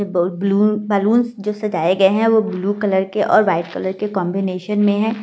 Balloon जो सजाए गए हैं वो ब्लू कलर के और वाइट कलर के कॉन्बिनेशन में है चार बैलून ।